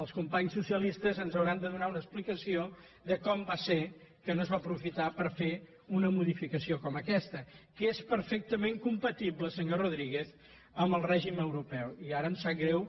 els companys socialistes ens hauran de donar una explicació de com va ser que no es va aprofitar per fer una modificació com aquesta que és perfectament compatible senyor rodríguez amb el règim europeu i ara em sap greu